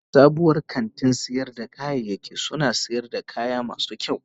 Sabuwar kantin sayar da kayayyaki suna sayar da kaya masu kyau.